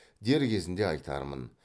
дер кезінде айтармын